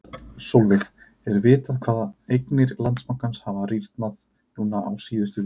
Sólveig: Er vitað hvað eignir Landsbankans hafa rýrnað núna á síðustu vikum?